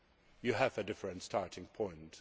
You have a different starting point.